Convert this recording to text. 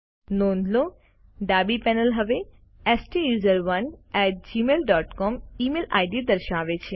નોંધ લો કે ડાબી પેનલ હવે સ્ટુસરોને at Gmail dot COM email ID દર્શાવે છે